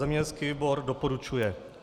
Zemědělský výbor doporučuje.